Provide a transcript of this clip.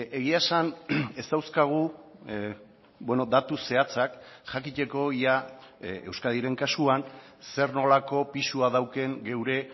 egia esan ez dauzkagu datu zehatzak jakiteko ia euskadiren kasuan zer nolako pisua daukan geure